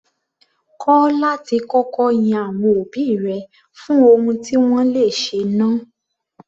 Kọ́ láti kọ́kọ́ yin àwọn òbí rẹ fún ohun tí wọ́n le ṣe náà.